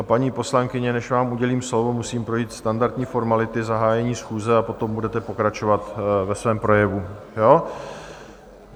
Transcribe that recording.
A paní poslankyně , než vám udělím slovo, musím projít standardní formality zahájení schůze a potom budete pokračovat ve svém projevu.